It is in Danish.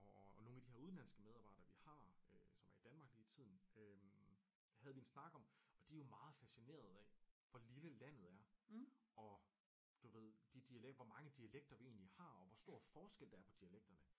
Og nogle af de her udenlandske medarbejdere vi har som er i Danmark lige tiden øh havde vi en snak om og de er jo meget fascinerede af hvor lille landet er og du ved de dialekt hvor mange dialekter vi egentligt har og hvor stor forskel der er på dialekterne